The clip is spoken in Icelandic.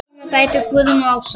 Þínar dætur, Guðrún og Ása.